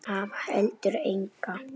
Hafði heldur enga.